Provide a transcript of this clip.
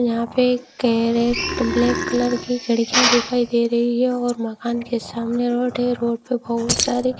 यहां पे कैरेट ब्लैक कलर की खिड़कियां दिखाई दे रही है और मकान के सामने रोड है रोड पर बहुत सारे--